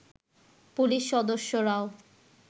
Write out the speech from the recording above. police সদস্যরাও